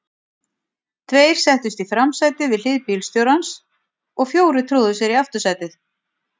Tveir settust í framsætið við hlið bílstjórans og fjórir tróðu sér í aftursætið.